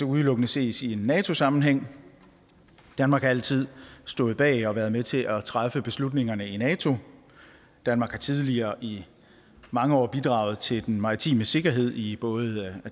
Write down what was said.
udelukkende ses i en nato sammenhæng danmark har altid stået bag og har været med til at træffe beslutningerne i nato danmark har tidligere i mange år bidraget til den maritime sikkerhed i både